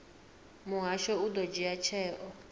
muhasho u ḓo dzhia tsheo